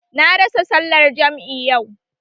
Na rasa sallar jam'i yau